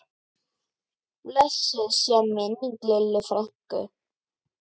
Blessuð sé minning Lillu frænku.